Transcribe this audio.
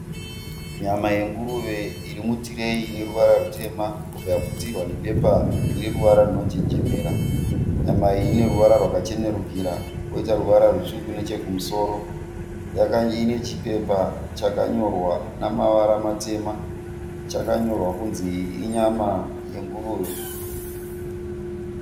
Nyama yenguruve iri mutireyi ine ruvara rutema rwakaputirwa nebepa rine ruvara runonjenjemera. Nyama iyi ine ruvara rwakachenerukira koita ruvara rutsvuku nechekumusoro. Ine chipepa chakanyorwa namavara matema, chakanyorwa kunzi iyi inyama yenguruve.